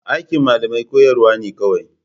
Aikin malamai koyarwa ne kawai.